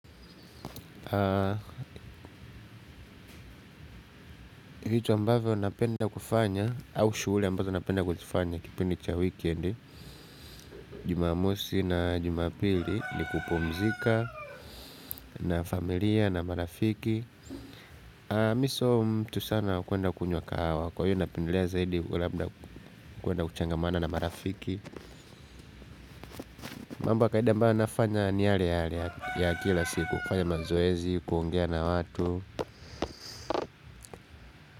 Vitu ambavyo napenda kufanya au shuguli ambazo napenda kuzifanya kipindi cha weekend Jumamosi na jumapili ni kupumzika na familia na marafiki Mimi sio mtu sana wa kwenda kunywa kahawa kwa hiyo napendelea zaidi labda kwenda kuchangamana na marafiki. Mambo ya kawaida ambayo nafanya ni yale yale ya kila siku kufanya mazoezi kuongea na watu.